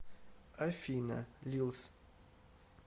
афина лилс